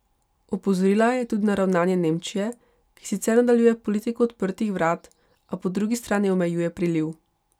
Opozorila je tudi na ravnanje Nemčije, ki sicer nadaljuje politiko odprtih vrat, a po drugi strani omejuje priliv.